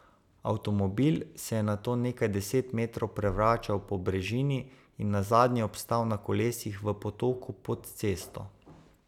Avtomobil se je nato nekaj deset metrov prevračal po brežini in nazadnje obstal na kolesih v potoku pod cesto.